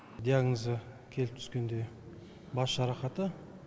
диагнозы келіп түскенде бас жарақаты